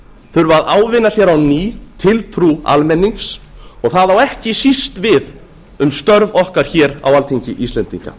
þurfa að ávinna sér á ný tiltrú almennings og það á ekki síst við um störf okkar hér á alþingi íslendinga